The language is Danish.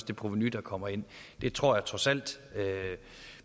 det provenu der kommer ind det tror jeg trods alt